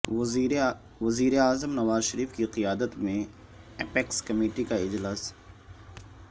وزیراعظم نواز شریف کی قیادت میں اپیکس کمیٹی کا اجلاس